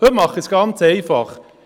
Heute mache ich es ganz einfach.